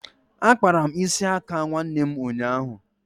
Akpara m isi aka nwanne ụnyaahụ